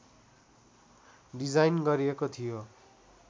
design गरिएको थियो